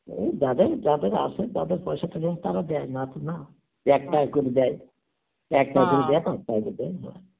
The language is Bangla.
ওই যাদের যাদের আছে তাদের পয়সা থেকে দেয় না তো না, এক করে দেয়, এক করে দেয় তো